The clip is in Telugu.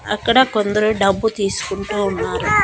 అక్కడ కొందరు డబ్బు తీసుకుంటా ఉన్నారు.